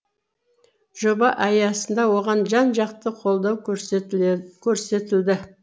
жоба аясында оған жан жақты қолдау көрсетілді